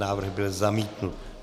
Návrh byl zamítnut.